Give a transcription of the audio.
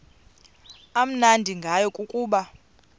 amnandi ngayo kukuba